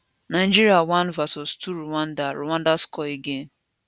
nigeria 1 vs 2 rwanda rwanda score again